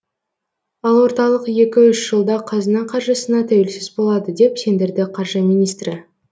ал орталық екі үш жылда қазына қаржысына тәуелсіз болады деп сендірді қаржы министрі